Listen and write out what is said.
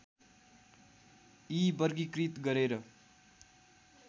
यी वर्गीकृत गरेर